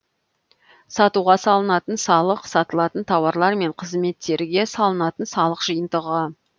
сатуға салынатын салық сатылатын тауарлар мен қызметтерге салынатын салық жиынтығы